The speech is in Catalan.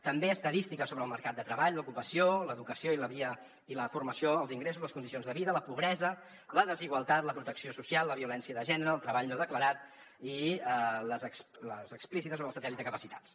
també estadística sobre el mercat de treball l’ocupació l’educació i la formació els ingressos les condicions de vida la pobresa la desigualtat la protecció social la violència de gènere el treball no declarat i les explícites sobre el satèl·lit de capacitats